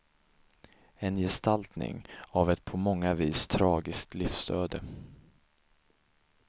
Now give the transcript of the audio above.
En gestaltning av ett på många vis tragiskt livsöde.